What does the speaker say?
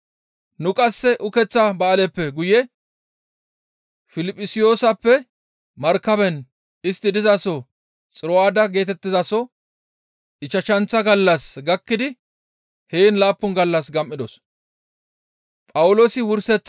Nu qasse ukeththa ba7aaleppe guye Piliphisiyooseppe markaben istti dizaso Xiro7aada geetettizaso ichchashanththa gallas gakkidi heen laappun gallas gam7idos.